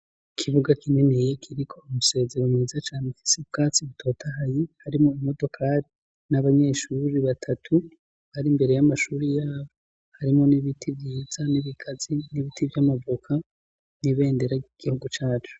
Ikibuga kininiya kiriko umusezero mwiza cane ufise ubwatsi butotahaye . Harimwo imodokari n'abanyeshure batatu bari mbere y'amashuri ya harimwo n'ibiti vyiza n'ibigazi n'ibiti vy'amavoka n'ibendera ry'igihugu cacu.